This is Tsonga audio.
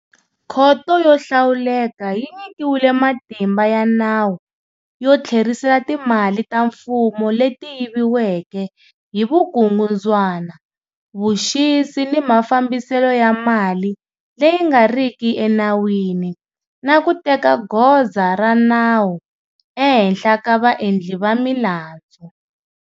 Khoto yo hlawuleka yi nyikiwile matimba ya nawu yo tlherisela timali ta mfumo leti yiviweke hi vukungundzwana, vuxisi na mafambiselo ya mali leyi nga riki enawini, na ku teka goza ra nawu ehenhla ka vaendli va milandzu,